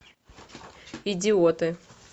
идиоты